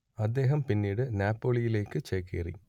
അദ്ദേഹം പിന്നീട് നാപ്പോളിയിലേക്ക് ചേക്കേറി